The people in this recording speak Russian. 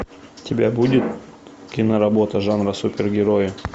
у тебя будет киноработа жанра супергерои